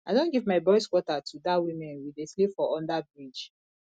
i don give my boys quarter to dat women we dey sleep for underbridge